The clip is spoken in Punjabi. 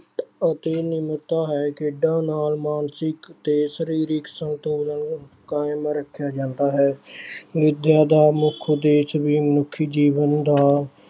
ਅਤੇ ਨਿਮਰਤਾ ਹੈ ਖੇਡਾਂ ਨਾਲ ਮਾਨਸਿਕ ਤੇ ਸਰੀਰਕ ਸੰਤੁਲਨ ਕਾਇਮ ਰੱਖਿਆ ਜਾਂਦਾ ਹੈ ਵਿਦਿਆ ਦਾ ਮੁੱਖ ਉਦੇਸ਼ ਵੀ ਮਨੁੱਖੀ ਜੀਵਨ ਦਾ